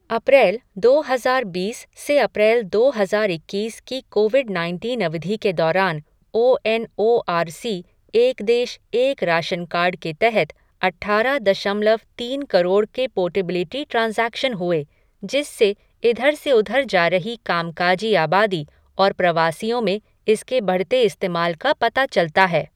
अप्रैल, दो हज़ार बीस से अप्रैल दो हज़ार इक्कीस की कोविड नाइनटीन अवधि के दौरान O N O R C एक देश, एक राशन कार्ड के तहत अट्ठारह दशमलव तीन करोड़ के पोर्टेबिलिटी ट्रांज़ैक्शन हुए, जिससे इधर से उधर जा रही कामकाजी आबादी और प्रवासियों में इसके बढ़ते इस्तेमाल का पता चलता है।